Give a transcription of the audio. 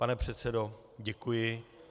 Pane předsedo, děkuji.